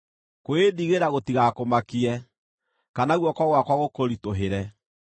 Kwĩĩndigĩra gũtigakũmakie, kana guoko gwakwa gũkũritũhĩre.